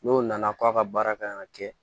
N'o nana k'a ka baara kan ka kɛ